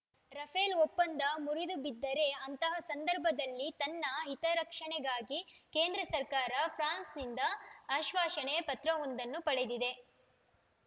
Rafale ಒಪ್ಪಂದ ಮುರಿದುಬಿದ್ದರೆ ಅಂತಹ ಸಂದರ್ಭದಲ್ಲಿ ತನ್ನ ಹಿತರಕ್ಷಣೆಗಾಗಿ ಕೇಂದ್ರ ಸರ್ಕಾರ ಫ್ರಾನ್ಸ್‌ನಿಂದ ಆಶ್ವಾಸನೆ ಪತ್ರವೊಂದನ್ನು ಪಡೆದಿದೆ